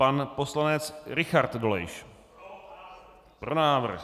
Pan poslanec Richard Dolejš: Pro návrh.